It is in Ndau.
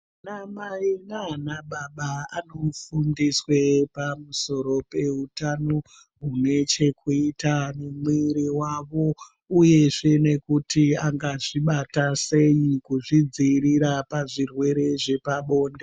Ana Mai naanababa anofundiswe pamusoro peutano hune chekuita nemwiri wawo uyezve nekuti ngazvibata sei nekuzvidziirira pazvirwere zvepabonde.